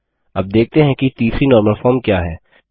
अब देखते हैं कि तीसरी नॉर्मल फ़ॉर्मल क्या है